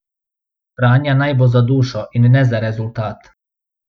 Franja naj bo za dušo, in ne za rezultat.